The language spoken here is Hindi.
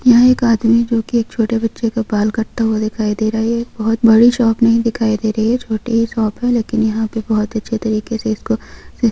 यह एक आदमी जो की एक छोटे बच्चे के बाल काटता हुआ दिखाई दे रहा है बहुत बड़ी शॉप नहीं दिखाई दे रही है छोटी ही शॉप है लेकिन यह पर बहुत अच्छी तरीके से इसको--